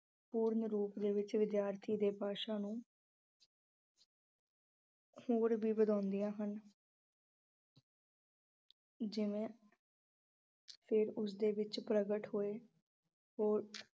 ਪੂਰਨ ਰੂਪ ਦੇ ਵਿੱਚ ਵਿਦਿਆਰਥੀ ਦੀ ਭਾਸ਼ਾ ਨੂੰ ਹੋਰ ਵੀ ਹਨ ਜਿਵੇਂ ਫਿਰ ਉਸ ਦੇ ਵਿੱਚ ਪ੍ਰਗਟ ਹੋਏ ਹੋਰ